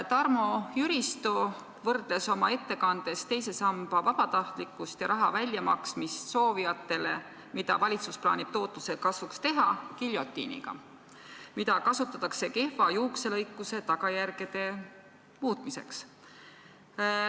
Tarmo Jüristo võrdles oma ettekandes teise samba vabatahtlikuks muutmist ja raha väljamaksmist soovijatele, mida valitsus plaanib tootluse kasvu nimel teha, giljotiiniga, mida kasutatakse kehva juukselõikuse tagajärgede muutmiseks.